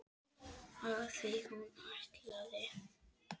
Af því hún ætlaði.